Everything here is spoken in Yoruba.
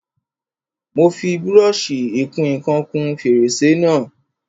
Mo fi brọ́ṣì ìkun ìkan kún fèrèsé náà.